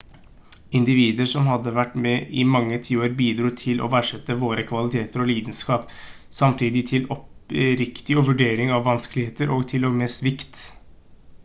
individer som hadde vært med i mange tiår bidro til å verdsette våre kvaliteter og lidenskap samtidig til oppriktig vurdering av vanskeligheter og til og med svikt